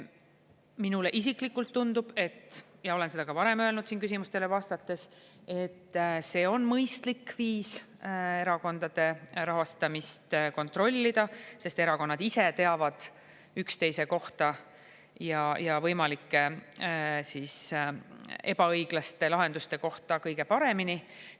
Minule isiklikult tundub, ja olen seda ka varem öelnud siin küsimustele vastates, et see on mõistlik viis erakondade rahastamist kontrollida, sest erakonnad ise teavad üksteise ja võimalike ebaõiglaste lahenduste kohta kõige paremini.